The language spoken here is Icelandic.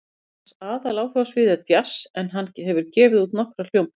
Hans aðaláhugasvið er djass en hann hefur gefið út nokkrar hljómplötur.